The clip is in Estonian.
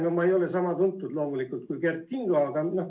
No ma ei ole loomulikult sama tuntud kui Kert Kingo.